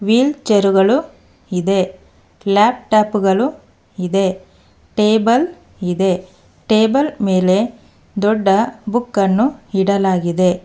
Will chair ಗಳು ಇದೆ laptop ಗಳು ಇದೆ ಟೇಬಲ್ ಇದೆ ಟೇಬಲ್ ಮೇಲೆ ದೊಡ್ಡ ಬುಕ್ ಅನ್ನು ಇಡಲಾಗಿದೆ.